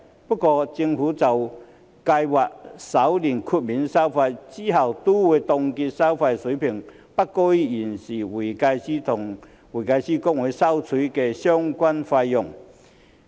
不過，政府就計劃首年豁免收費，之後亦都會凍結收費水平不高於現時會計師公會收取的相關費用。